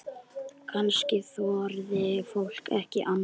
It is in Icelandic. Kannski þorði fólk ekki annað?